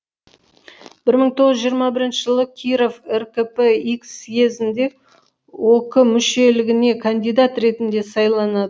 бір мың тоғыз жүз жиырма бірінші жылы киров ркп х съезінде ок мүшелігіне кандидат ретінде сайланады